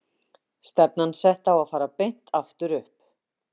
Stefnan sé sett á að fara beint aftur upp.